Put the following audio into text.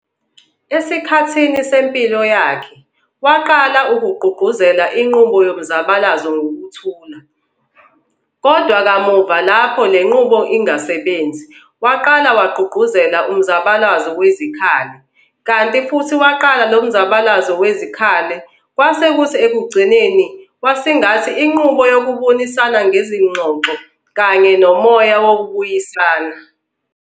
Esikhathini sempilo yakhe, waqala ukugqugquzelela inqubo yomzabalazo ngokuthula, kodwa kamuva lapho le nqubo ingasebenzi, waqala wagqugquzelela umzabalazo wezikkhali, kanti futhi waqala lo mzabalazo wezikhali, kwase kuthi ekugcineni wasingathi inqubo yokubonisana ngezingxoxo kanye nomoya wokubuyisana.